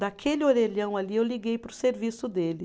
Daquele orelhão ali eu liguei para o serviço dele.